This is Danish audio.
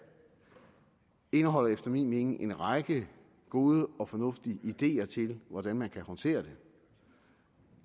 indeholder efter min mening en række gode og fornuftige ideer til hvordan man kan håndtere det